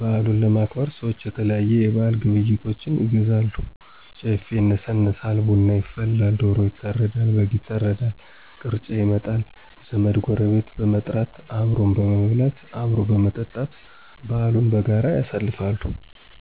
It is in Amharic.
በዓሉን ለማክበር ሰዎች የተለያዩ የበዓል ግብዓቶችን ይገዛሉ፣ ጨፌ ይነሰነሳል፣ ቡና ይፈላል፣ ዶሮ ይታረዳል፣ በግ ይታረዳል፣ ቅርጫ ይመጣል፣ ዘመድ፣ ጎረቤት በመጥራት አብሮ በመብላት፣ አብሮ በመጠጣት በዓሉን በጋራ ያሳልፋሉ።